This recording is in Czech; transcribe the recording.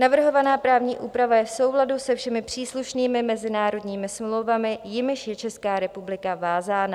Navrhovaná právní úprava je v souladu se všemi příslušnými mezinárodními smlouvami, jimiž je Česká republika vázána.